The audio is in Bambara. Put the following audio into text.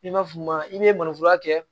I b'a f'i ma i ye mananforo kɛ